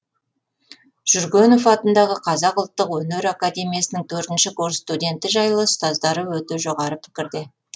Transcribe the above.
жүргенов атындағы қазақ ұлттық өнер академиясының төртінші ші курс студенті жайлы ұстаздары өте жоғары пікірде